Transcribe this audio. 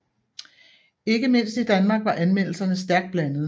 Ikke mindst i Danmark var anmeldelserne stærkt blandede